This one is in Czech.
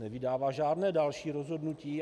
Nevydává žádné další rozhodnutí.